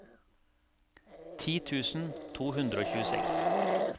ti tusen to hundre og tjueseks